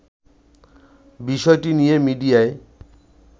বিষয়টি নিয়ে মিডিয়ায়